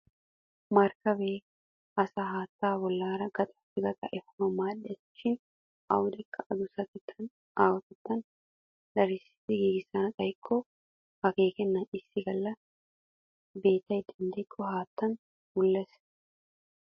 Markkabee asaa haattaa bollaara gaxaappe gaxaa efanawu maaddes. Shin awudekka adussattettane aahotettaa darissidi giigissana xayikko akkeekennan issi galla beetay denddikko haattan wulles.